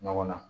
Ɲɔgɔn na